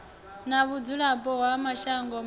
na vhudzulapo ha mashango mavhili